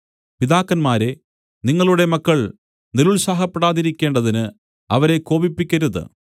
പിതാക്കന്മാരേ നിങ്ങളുടെ മക്കൾ നിരുത്സാഹപ്പെടാതിരിക്കേണ്ടതിന് അവരെ കോപിപ്പിക്കരുത്